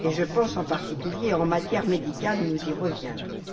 Je pense, en particulier, en matière médicale, mais nous y reviendrons.